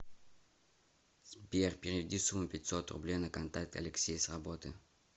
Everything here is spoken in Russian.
сбер переведи сумму пятьсот рублей на контакт алексей с работы